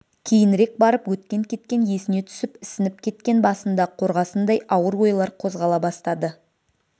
кейінірек барып өткен-кеткен есіне түсіп ісініп кеткен басында қорғасындай ауыр ойлар қозғала бастады